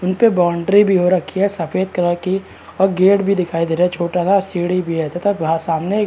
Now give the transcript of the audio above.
यही पे बाउंड्री भी हो रखी है सफ़ेद कलर कि और गेट भी दिखाई दे रहा है छोटा सा सीढ़ी भी है तथा भा सामने एक --